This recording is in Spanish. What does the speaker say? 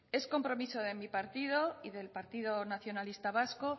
es compromiso de mi partido y del partido nacionalista vasco